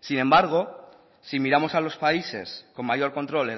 sin embargo si miramos a los países con mayor control